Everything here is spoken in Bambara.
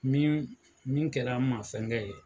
Min min kɛra mafɛnkɛ ye.